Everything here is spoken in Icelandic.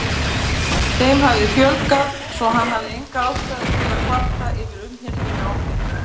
Þeim hafði fjölgað, svo hann hafði enga ástæðu til að kvarta yfir umhirðunni á þeim.